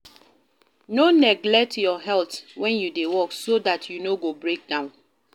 No neglect your health and when you dey work so dat you no go break down